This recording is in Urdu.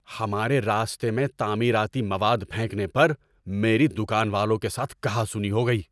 ہمار ے راستے میں تعمیراتی مواد پھینکنے پر میری دکان والوں کے ساتھ کہا سنی ہو گئی۔